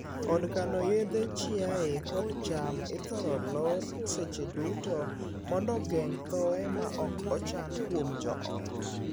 Od kano yedhe chiaye kod cham ithor lor seche duto mondo geng' thooye ma ok ochan kuom joot.